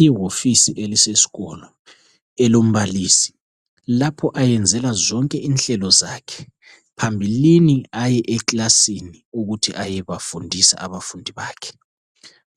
Yihofisi yakulesisikolo. Elombalisi. Lapho ayenzela zonke inhlelo zakhe. Phambilini aye eklasini, ukuthi ayebafundisa abafundi bakhe.